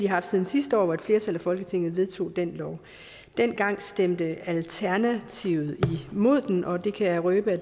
haft siden sidste år hvor et flertal af folketinget vedtog den lov dengang stemte alternativet imod den og det kan jeg røbe